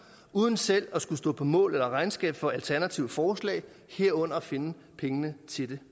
uden selv at skulle stå på mål eller regnskab for alternative forslag herunder at finde pengene til det